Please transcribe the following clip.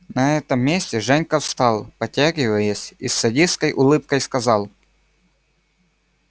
на этом месте женька встал потягиваясь и с садистской улыбкой сказал